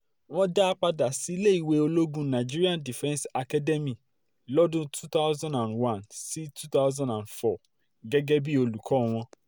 wọ́n dá a padà sí iléèwé ológun nigerian defence academy lọ́dún two thousand one sí two thousand four gẹ́gẹ́ bíi olùkọ́ wọn